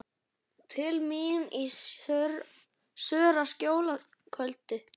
Til mín í Sörlaskjól að kvöldi.